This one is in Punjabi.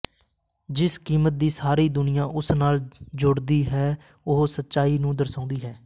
ਜਿਸ ਕੀਮਤ ਦੀ ਸਾਰੀ ਦੁਨੀਆਂ ਉਸ ਨਾਲ ਜੋੜਦੀ ਹੈ ਉਹ ਸੱਚਾਈ ਨੂੰ ਦਰਸਾਉਂਦੀ ਹੈ